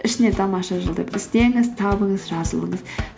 ішінен тамаша жыл деп іздеңіз табыңыз жазылыңыз